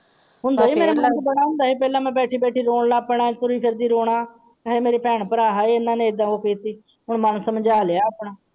ਹੁੰਦਾ ਹੀ ਹੈ ਮੇਰਾ ਮਨ ਬੜਾ ਹੁੰਦਾ ਸੀ ਪਹਿਲਾਂ ਮੈਂ ਬੈਠੀ ਬੈਠੀ ਰੋਣ ਲੱਗ ਪੈਣਾ ਹਾਏ ਮੇਰੇ ਭੈਣ ਭਰਾ ਇਹਨਾਂ ਨੇ ਇਹਦਾ ਕੀਤੀ।